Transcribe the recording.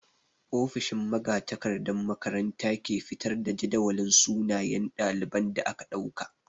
Ofishin magatakardan makaranta ke fitar da jadawalin sunayen ɗalibai da aka ɗauka.